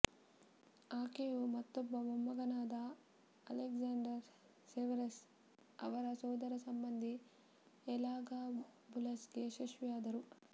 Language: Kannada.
ಆಕೆಯು ಮತ್ತೊಬ್ಬ ಮೊಮ್ಮಗನಾದ ಅಲೆಕ್ಸಾಂಡರ್ ಸೆವೆರಸ್ ಅವರ ಸೋದರಸಂಬಂಧಿ ಎಲಾಗಾಬುಲಸ್ಗೆ ಯಶಸ್ವಿಯಾದರು